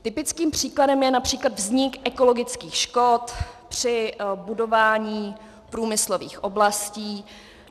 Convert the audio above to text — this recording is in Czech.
Typickým příkladem je například vznik ekologických škod při budování průmyslových oblastí.